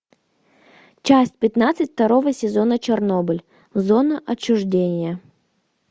часть пятнадцать второго сезона чернобыль зона отчуждения